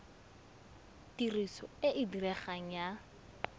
tiriso e e diregang ya